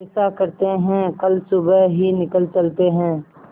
ऐसा करते है कल सुबह ही निकल चलते है